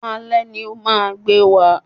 Alé ni o máa gbé wa